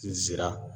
N sera